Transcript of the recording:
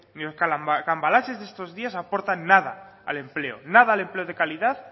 ni los cambalaches de estos días aportan nada al empleo nada al empleo de calidad